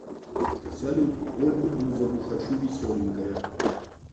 салют ольгу бузову хочу веселенькое